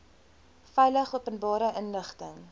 veilig openbare inligting